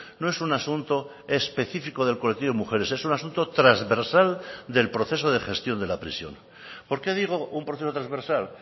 no es un asunto específico del colectivo de mujeres es un asunto transversal del proceso de gestión de la prisión por qué digo un proceso transversal